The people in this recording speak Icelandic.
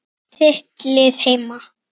Hvert er þitt lið heima?